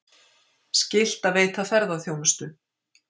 Skylt að veita ferðaþjónustu